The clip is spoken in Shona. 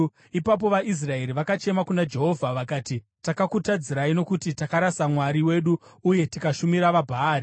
Ipapo vaIsraeri vakachema kuna Jehovha vakati, “Takakutadzirai nokuti takarasa Mwari wedu uye tikashumira vaBhaari.”